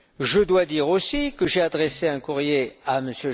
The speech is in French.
Je dois dire aussi que j'ai adressé un courrier à M.